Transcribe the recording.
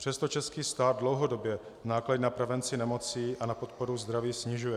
Přesto český stát dlouhodobě náklady na prevenci nemocí a na podporu zdraví snižuje.